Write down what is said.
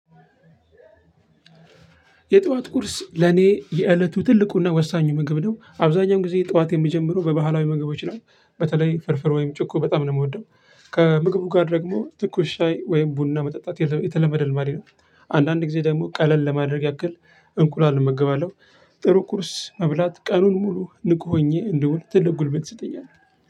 የጠዋት ቁርስ ለኔ የእለቱ ትልቁና ወሳኙ ምግብ ነው አብዛኛውን ጊዜ ጠዋቴን የምጀምረው በባህላዊ ምግቦች ነው በተለይ ፍርፍር ወይም ጭኮ በጣም ነው የምወደው። ከምግቡ ጋር ደግሞ ትኩስ ሻይ ወይም ቡና መጠጣት የተለመደ ልማዴ ነው። አንዳንድ ጊዜ ደግሞ ቀለል ለማድረግ ያክል እንቁላል እመገባለሁ። ጥሩ ቁርስ መብላት ቀኑን ሙሉ ንቁ ሆኜ እንድውል ትልቅ ጉልበት ይሰጠኛል።